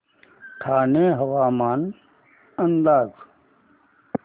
ठाणे हवामान अंदाज